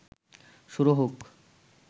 শুরু হোক